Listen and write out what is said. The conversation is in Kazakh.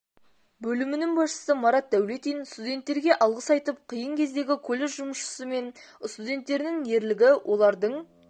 бөлімінің басшысы марат даулетин студенттерге алғыс айтып қиын кездегі колледж жұмысшысы мен студенттерінің ерлігі олардын